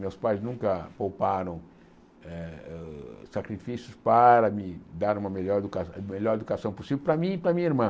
Meus pais nunca pouparam eh sacrifícios para me dar uma melhor educa melhor educação possível para mim e para minha irmã.